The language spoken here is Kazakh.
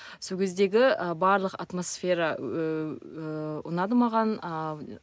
сол кездегі ы барлық атмосфера ыыы ұнады маған ааа